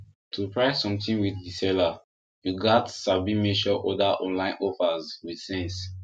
to price something with the seller you gats sabi mention other online offers with sense